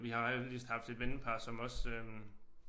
Vi har heldigvis haft et vennepar som også øh